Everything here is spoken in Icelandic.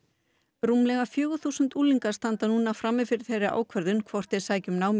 rúmlega fjögur þúsund unglingar standa núna frammi fyrir þeirri ákvörðun hvort þeir sækja um nám í